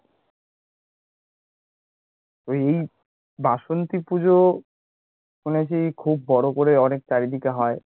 এই বাসন্তী পুজো খুব বড় করে অনেক চারিদিকে হয়?